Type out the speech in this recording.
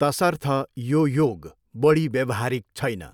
तसर्थ यो योग बढी व्यवहारिक छैन।